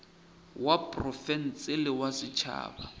wa profense le wa setšhaba